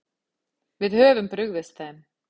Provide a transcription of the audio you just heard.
Við höfum brugðist þeim.